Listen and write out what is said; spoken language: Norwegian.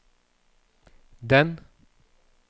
den